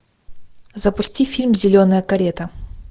запусти фильм зеленая карета